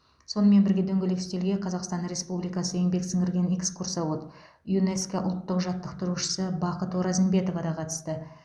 сонымен бірге дөңгелек үстелге қазақстан республикасы еңбек сіңірген экскурсовод юнеско ұлттық жаттықтырушысы бақыт оразымбетова да қатысты